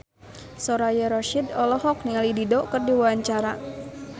Soraya Rasyid olohok ningali Dido keur diwawancara